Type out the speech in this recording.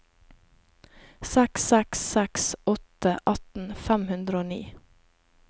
seks seks seks åtte atten fem hundre og ni